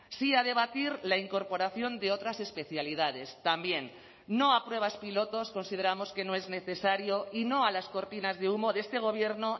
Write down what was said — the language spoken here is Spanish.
sí a debatir la incorporación de otras especialidades también no a pruebas pilotos consideramos que no es necesario y no a las cortinas de humo de este gobierno